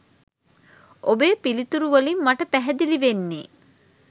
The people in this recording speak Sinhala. ඔබේ පිළිතුරු වලින් මට පැහැදිලි වෙන්නේ